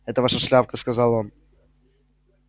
это ваша шляпка сказал он